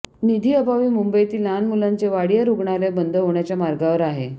निधी अभावी मुंबईतील लहान मुंलांचे वाडिया रुग्णालय बंद होण्याच्या मार्गावर आहे